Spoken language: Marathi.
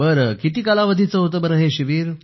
किती कालावधीचे होतं हे शिबिर